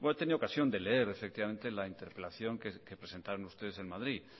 tenido la ocasión de leer efectivamente la interpelación que presentaron ustedes en madrid